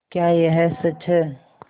क्या यह सच है